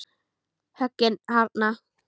Höggin harðna.